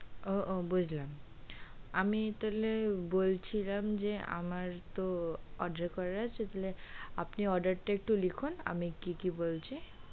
ও ও বুঝলাম আমি তাহলে বলছিলাম যে আমার তো order করা আছে তাহলে আপনি order টা একটু লিখুন আমি কি কি বলছি,